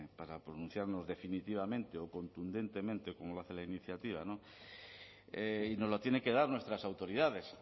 para pronunciarnos definitivamente o contundentemente como lo hace la iniciativa no y nos la tiene que dar nuestras autoridades